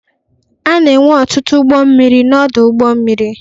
A na-enwe ọtụtụ ụgbọ mmiri n'ọdụ ụgbọ mmiri.